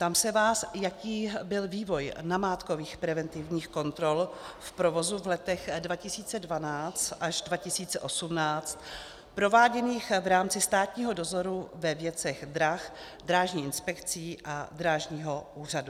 Ptám se vás, jaký byl vývoj namátkových preventivních kontrol v provozu v letech 2012 až 2018, prováděných v rámci státního dozoru ve věcech drah Drážní inspekcí a Drážního úřadu.